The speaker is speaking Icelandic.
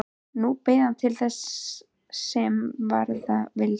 Nú beið hann þess, sem verða vildi.